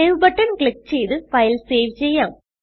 save button click ചെയ്ത് file save ചെയ്യാം